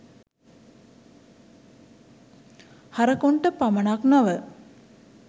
හරකුන්ට පමණක් නොව